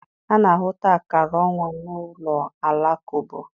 A na-ahụta akara ọnwa n'ụlọ Alakụba.